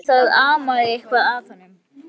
En það amaði eitthvað að honum.